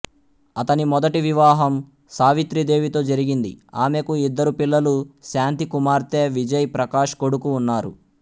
అతని మొదటి వివాహం సావిత్రి దేవితో జరిగింది ఆమెకు ఇద్దరు పిల్లలు శాంతి కుమార్తె విజయ్ ప్రకాష్ కొడుకు ఉన్నారు